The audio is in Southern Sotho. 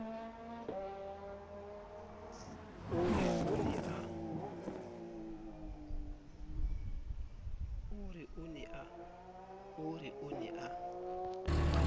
a re o ne a